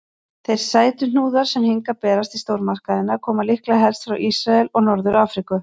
Þeir sætuhnúðar sem hingað berast í stórmarkaðina koma líklega helst frá Ísrael og Norður-Afríku.